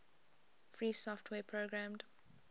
free software programmed